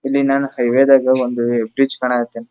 ಇಲ್ಲಿ ನಾನು ಹೈವೇ ದಾಗ ಒಂದು ಬೀಚ್ ಕಾಣ್ಕತೀನಿ.